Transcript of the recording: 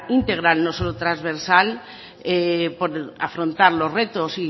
íntegra no solo trasversal por afrontar los retos